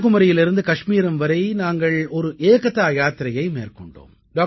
கன்னியாகுமரியிலிருந்து காஷ்மீரம் வரை நாங்கள் ஒரு ஏகதா யாத்திரையை மேற்கொண்டோம்